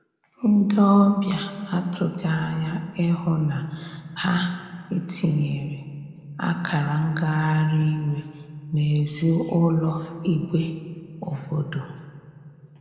Ndi ọbia atughi anya ịhụ na ha itiyere akara ngahari iwe n'ezi ụlọ igbe obodo.